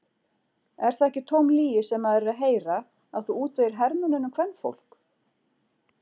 Er það ekki tóm lygi sem maður er að heyra að þú útvegir hermönnunum kvenfólk?